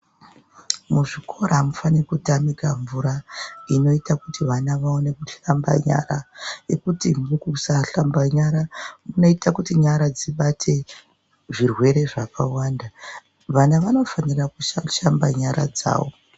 Muzvikora amufani kutamika mvura inoita kuti vana vaone kuhlamba nyara Yekuti mukusahlamba nyara munoita kuti nyara dzibate zvirwere zvakawanda vana vanofanira kusha kushamba nyara dzawo.